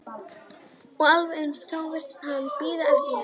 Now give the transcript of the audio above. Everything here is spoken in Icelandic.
Og alveg eins og þá virtist hann bíða eftir mér.